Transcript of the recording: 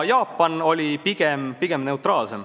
Jaapan oli pigem neutraalne.